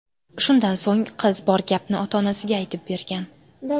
Shundan so‘ng, qiz bor gapni ota-onasiga aytib bergan.